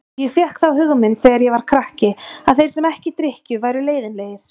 Ég fékk þá hugmynd þegar ég var krakki að þeir sem ekki drykkju væru leiðinlegir.